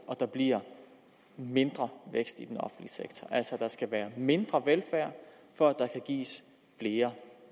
at der bliver en mindre vækst i den offentlige sektor at der altså skal være mindre velfærd for at der kan gives flere